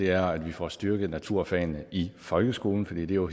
er at vi får styrket naturfagene i folkeskolen fordi det jo